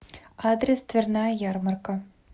адрес дверная ярмарка